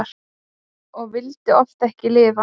Og vildi oft ekki lifa.